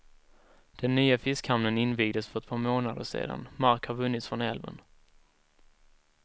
Den nya fiskhamnen invigdes för ett par månader sedan, mark har vunnits från älven.